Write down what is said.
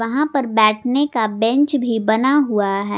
यहां पर बैठने का बेंच भी बना हुआ है।